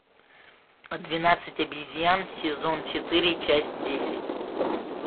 двенадцать обезьян сезон четыре часть десять